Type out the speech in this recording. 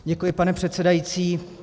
Děkuji, pane předsedající.